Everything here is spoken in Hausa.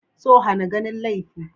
So hana ganin laifi.